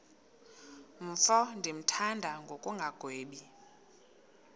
mfo ndimthanda ngokungagwebi